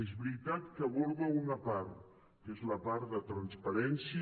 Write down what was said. és veritat que n’aborda una part que és la part de transparència